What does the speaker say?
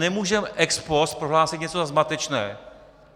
Nemůžeme ex post prohlásit něco za zmatečné.